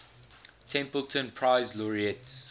templeton prize laureates